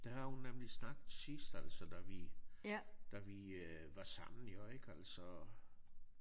Det har hun nemlig sagt sidst altså da vi da vi øh var sammen jo ik altså